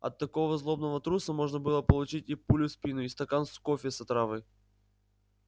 от такого злобного труса можно было получить и пулю в спину и стакан кофе с отравой